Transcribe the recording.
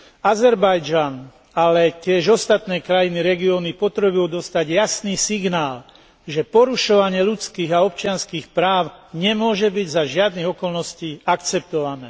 Azerbajdžan, ale tiež ostatné krajiny regiónu potrebujú dostať jasný signál, že porušovanie ľudských a občianskych práv nemôže byť za žiadnych okolností akceptované.